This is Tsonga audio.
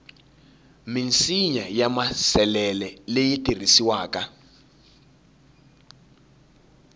minsinya ya maasesele leyi tirhisiwaka